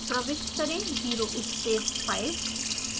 प्रविष्ट करें 0 space 5